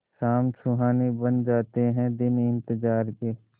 शाम सुहानी बन जाते हैं दिन इंतजार के